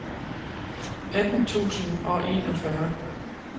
atten tusind og enogfyrre